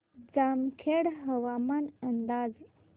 जामखेड हवामान अंदाज